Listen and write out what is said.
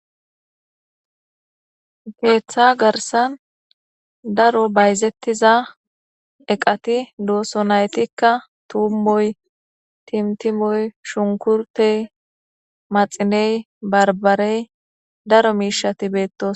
Keththa garssan dro bayizetiza eqati de"oson izetikka tumoy timatimoy shunkurttoy maxiney barbarey daro mishshat bettosona